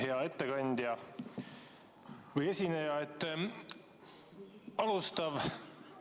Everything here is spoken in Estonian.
Hea ettekandja või esineja!